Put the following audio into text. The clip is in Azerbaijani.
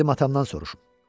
Gedib atamdan soruşum.